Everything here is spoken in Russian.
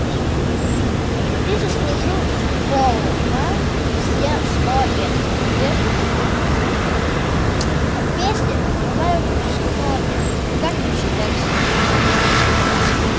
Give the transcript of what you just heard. ты заслужил сполна все сто лет без бед а песни бывают с кровью как и бифштекс